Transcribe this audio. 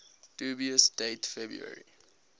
dubious date february